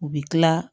U bɛ tila